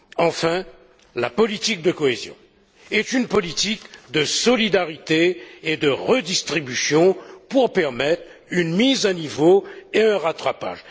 Enfin, la politique de cohésion est une politique de solidarité et de redistribution pour permettre une mise à niveau et un rattrapage.